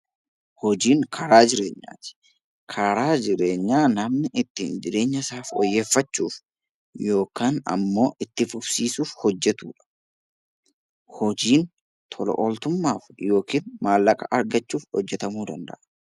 Hojiin karaa jireenyaati. Karaa jireenyaa karaa ittiin namni jireenya isaa fooyyeffachuuf yookiin itti fufsiisuuf hojjetudha. Hojiin tola-ooltummaaf yookiin maallaqa argachuuf hojjetamuu danda'a.